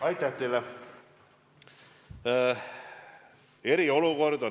Aitäh teile!